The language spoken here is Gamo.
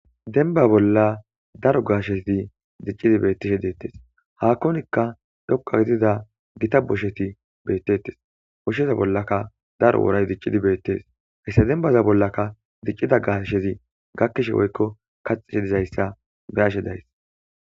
denba bolla daro gaashezi diccidi beettishe deettes haakkonikka dhoqa gidida gita bosheti beettettes oshsheza bollaka daro woray diccidi beettes hayssa denbaza bollaka diccida gaashezi gakkishe woykko kaxishe dizayssa birashe days